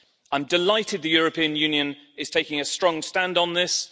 I'm delighted the European Union is taking a strong stand on this.